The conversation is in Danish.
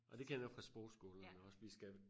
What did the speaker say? Ej det kender jeg fra sprogskolen jo også vi skal